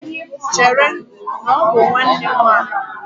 Chere, na ọ bụ nwanne nwaanyị!